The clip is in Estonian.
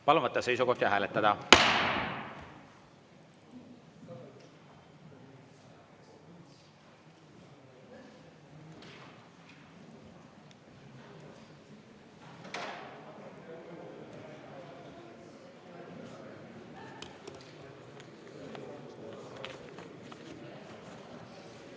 Palun võtta seisukoht ja hääletada!